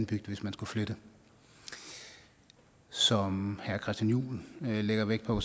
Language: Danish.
bygd hvis man skulle flytte som herre christian juhl lægger vægt på